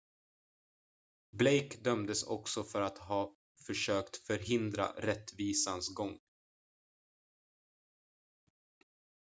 blake dömdes också för att ha försökt förhindra rättvisans gång